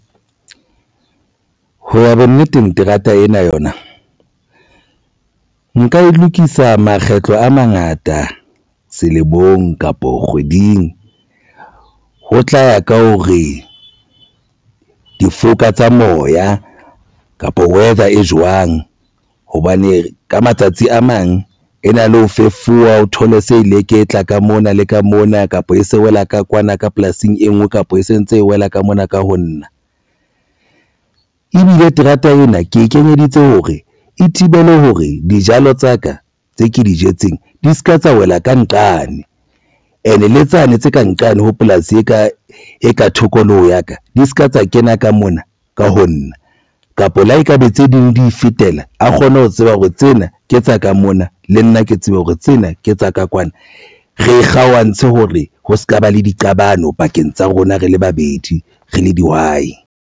Ho ba bonneteng terata ena yona nka e lokisa makgetlo a mangata selemong kapo kgweding ho tla ya ka hore difoka tsa moya kapa weather e jwang hobane ka matsatsi a mang e na le ho fefowa. O thole se leketla ka mona le ka mona kapa e se wela ka kwana ka polasing e nngwe kapa e sentse e wela ka mona ka ho nna. Ebile terata ena ke e kenyeditse hore e thibele hore dijalo tsa ka tse ke di jetseng di se ka tsa wela ka nqane ene le tsane tse ka nqane ho polasi e ka e ka tokoloho ya ka di se ka tsa kena ka mona ka ho nna kapa le ha ekabe tse ding di fetela a kgone ho tseba hore tsena ke tsa ka mona le nna ke tsebe hore tsena ke tsa ka kwana. Re kgaohantse hore ho sekaba le diqabano pakeng tsa rona. Rele babedi re le dihwai.